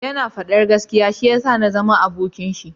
Ya na fadan gaskiya shi ya sa na zama abokin shi